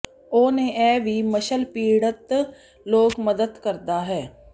ਉਸ ਨੇ ਇਹ ਵੀ ਮੱਸਲ ਪੀੜਤ ਲੋਕ ਮਦਦ ਕਰਦਾ ਹੈ